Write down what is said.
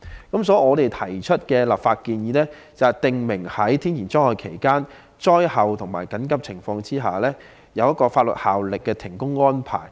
因此，我們提出的立法建議是，訂明在天然災害期間、災後和緊急情況下，須有具法律效力的停工安排。